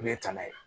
Ne ye tana ye